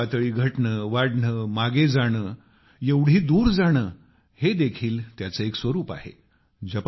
समुद्राची पातळी घटणे वाढणे मागे जाणे एवढे दूर जाणे हे देखील त्याचे एक स्वरुप आहे